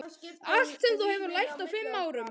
Allt sem þú hefur lært á fimm árum.